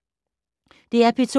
DR P2